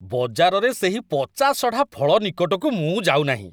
ବଜାରରେ ସେହି ପଚାସଢ଼ା ଫଳ ନିକଟକୁ ମୁଁ ଯାଉନାହିଁ।